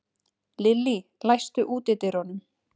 Lillý, læstu útidyrunum.